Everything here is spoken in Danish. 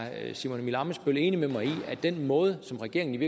simon emil ammitzbøll er enig med mig i at den måde som regeringen